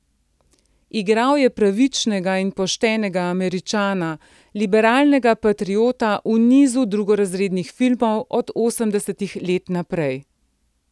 Igral je pravičnega in poštenega Američana, liberalnega patriota v nizu drugorazrednih filmov od osemdesetih let naprej.